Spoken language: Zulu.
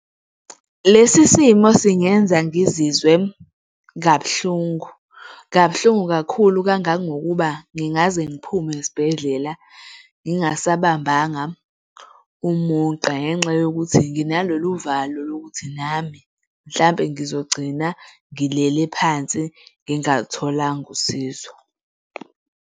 Lesi simo singenza ngizizwe kabuhlungu, kabuhlungu kakhulu kangangokuba ngingaze ngiphume esibhedlela, ngingasabambanga umuntu ngenxa yokuthi nginalolu uvalo lokuthi nami mhlampe ngizogcina ngilele phansi ngingalutholanga usizo.